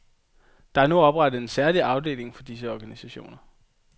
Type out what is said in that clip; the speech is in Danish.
Der er nu oprettet en særlig afdeling for disse organisationer.